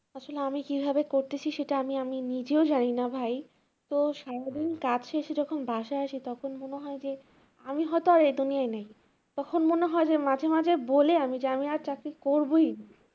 আসলে আমি কিভাবে করতেছি সেটা আমি আমি নিজেও জানিনা ভাই তো সারাদিন কাজ শেষে যখন বাসায় আসি তখন মনে হয় যে আমি হয়তো আর এই দুনিয়ায় নাই তখন মনে হয় যে মাঝে মাঝে বলি আমি যে আমি আর চাকরি করবইনা।